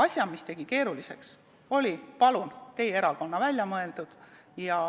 See, mis tegi asja keeruliseks, oli, palun, teie erakonna välja mõeldud.